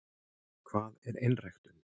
hvað er einræktun